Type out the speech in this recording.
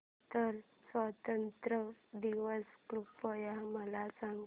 Qatar स्वातंत्र्य दिवस कृपया मला सांगा